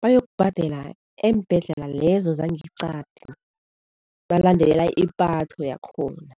bayokubhadela eembhedlela lezo zangeqadi, balandela ipatho yakhona.